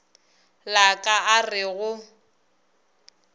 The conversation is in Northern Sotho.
la ka a re go